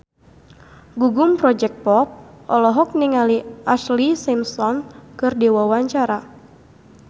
Gugum Project Pop olohok ningali Ashlee Simpson keur diwawancara